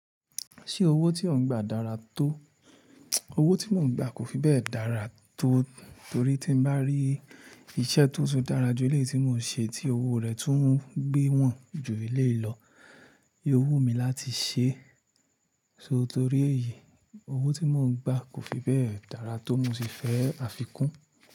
Ṣé owó tí ó ń gbà dára tó? Owó tí mò ń gbà kò fi bẹ́ẹ̀ dára tó torí tí n bá rí iṣẹ́ tó tun dára ju eléyìí tí mò ń ṣe tí owó rẹ̀ tún ń gbé wọ̀n ju eléyìí lọ, yóò wù mí láti ṣe, ṣó torí èyí, owó tí mò ń gbà kò fi bẹ́ẹ̀ dára tó bimo ṣe fẹ́ àfikún.